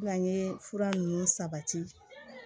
N'an ye fura ninnu sabati